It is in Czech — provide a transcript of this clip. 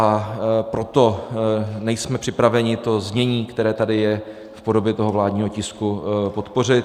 A proto nejsme připraveni to znění, které tady je v podobě toho vládního tisku, podpořit.